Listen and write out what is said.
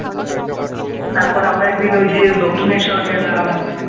তারপর আমরা একদিন ওই যে দক্ষিণেশ্বর গেলাম।